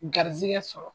Garizigɛ sɔrɔ